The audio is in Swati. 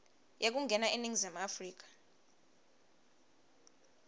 yekungena eningizimu afrika